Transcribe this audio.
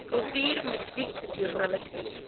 kultuur musiek joernalistiek